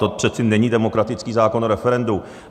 To přece není demokratický zákon o referendu.